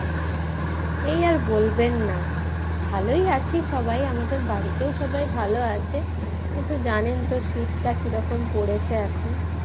এই আর বলবেন না ভালোই আছি সবাই আমাদের বাড়িতেও সবাই ভালো আছে কিন্তু জানেন তো শীতটা কিরকম পড়েছে এখন